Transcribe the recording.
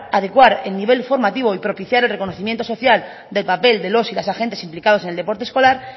adecuar el nivel formativo y propiciar el reconocimiento social del papel de los y las agentes implicados en el deporte escolar